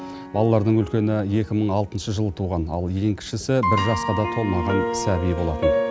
балалардың үлкені екі мың алтыншы жылы туған ал ең кішісі бір жасқа да толмаған сәби болатын